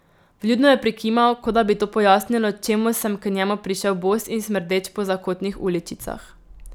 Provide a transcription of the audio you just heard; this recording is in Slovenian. Vljudno je prikimal, kot da bi to pojasnilo, čemu sem k njemu prišel bos in smrdeč po zakotnih uličicah.